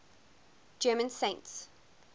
german saints